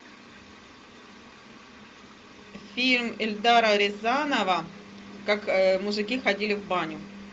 фильм эльдара рязанова как мужики ходили в баню